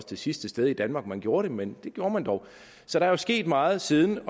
det sidste sted i danmark man gjorde det men det gjorde man dog så der er sket meget siden